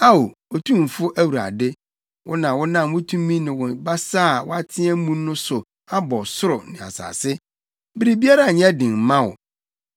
“Ao, Otumfo Awurade, wo na wonam wo tumi ne wo basa a woateɛ mu so abɔ ɔsoro ne asase. Biribiara nyɛ den mma wo.